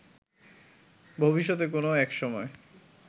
ভবিষ্যতে কোনো একসময়